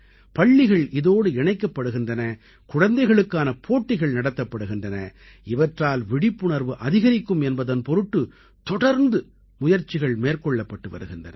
பள்ளிகள் இதோடு இணைக்கப்படுகின்றன குழந்தைகளுக்கான போட்டிகள் நடத்தப்படுகின்றன இவற்றால் விழிப்புணர்வு அதிகரிக்கும் என்பதன் பொருட்டு தொடர்ந்து முயற்சிகள் மேற்கொள்ளப்பட்டு வருகின்றன